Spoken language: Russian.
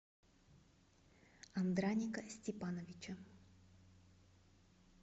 андраника степановича